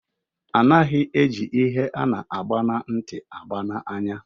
Anaghị eji ihe ana agba na nti agba n'anya